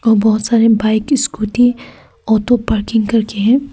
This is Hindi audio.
और बहोत सारे बाइक स्कूटी ऑटो पार्किंग करके हैं।